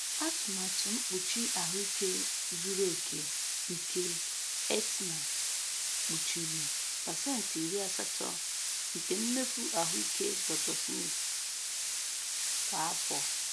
Atụmatụ mkpuchi ahụike zuru oke nke Aetna kpuchiri pecenti iri asato nke mmefu ahụike Dr. Smith kwa afọ.